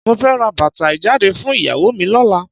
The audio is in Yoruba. Mo fẹ́ ra bàtà ìjáde fún ìyàwó mi lọ́la.